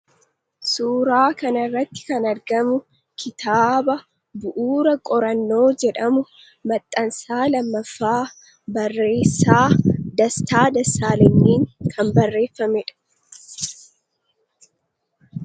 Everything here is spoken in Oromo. Suuraa kanarratti kan argamu kitaaba 'Bu'uura Qorannoo' jedhamu, maxxansa lammaffaa, barreessaa Dastaa Dessaalenyiin kan barreeffame dha.